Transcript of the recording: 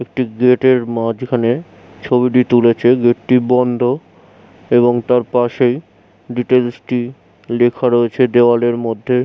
একটি গেট এর মাঝখানে ছবিটি তুলেছে গেট টি বন্ধ। এবং তার পাশেই ডিটেলস টি লেখা রয়েছে দেওয়ালের মধ্যে।